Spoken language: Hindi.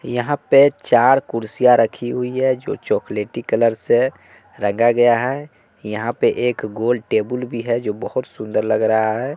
यहां पे चार कुर्सियां रखी हुई है जो चॉकलेटी कलर से रंगा गया है यहां पे एक गोल टेबुल भी है जो बहोत सुंदर लग रहा है।